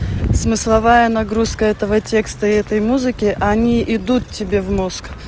смысловая нагрузка этого текста и этой музыки они идут тебе в мозг